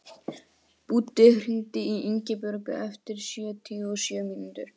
Búddi, hringdu í Ingibjörtu eftir sjötíu og sjö mínútur.